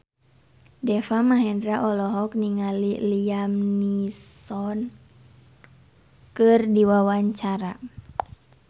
Deva Mahendra olohok ningali Liam Neeson keur diwawancara